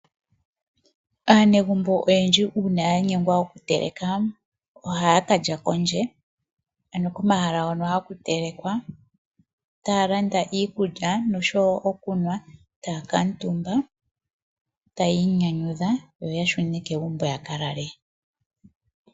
Aanegumbo oyendji uuna yanyengwa oku teleka ohaya kalya kondje ano komahala hono haku telekwa . Taa landa iikulya oshowo okunwa . Taakamutumba tayi inyanyudha yo ya shune kegumbo yaka lale.